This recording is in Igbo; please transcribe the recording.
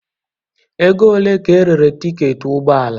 Ego ole ka erere tiketi ụgbọ ala?